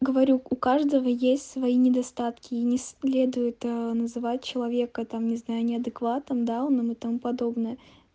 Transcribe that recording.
говорю у каждого есть свои недостатки и не следует ээ называть человека там не знаю неадекватом дауном и тому подобное